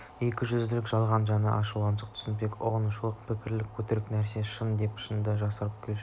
екіжүзділік жалған жаны ашушылық түсінушілік ұғынушылық пікірлестік өтірік нәрсені шын деп шынды жасырып көрсетушілік